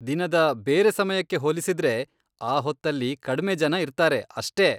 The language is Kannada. ದಿನದ ಬೇರೆ ಸಮಯಕ್ಕೆ ಹೋಲಿಸಿದ್ರೆ ಆ ಹೊತ್ತಲ್ಲಿ ಕಡ್ಮೆ ಜನ ಇರ್ತಾರೆ ಅಷ್ಟೇ.